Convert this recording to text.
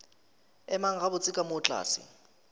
emang gabotse ka moo tlase